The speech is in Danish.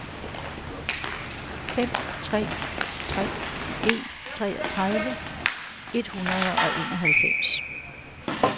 fem tre tre en treogtredive et hundrede og enoghalvfems